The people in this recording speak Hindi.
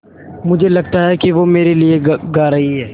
मुझे लगता है कि वो मेरे लिये गा रहीं हैँ